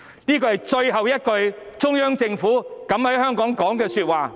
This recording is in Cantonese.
"這是最後一次中央政府敢於為香港說的話。